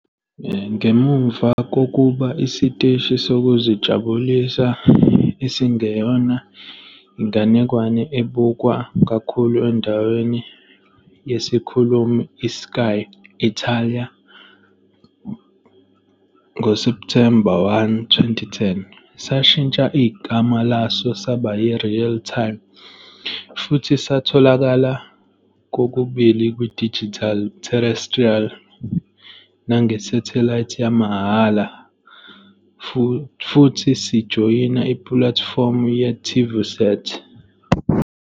Ngemuva kokuba isiteshi sokuzijabulisa esingeyona inganekwane esibukwa kakhulu endaweni yesikhulumi i-Sky Italia, ngoSepthemba 1, 2010, sashintsha igama laso laba yi- "Real Time", futhi satholakala kokubili kwi- digital terrestrial nange-satellite yamahhala, futhi sijoyina ipulatifomu yeTivùsat.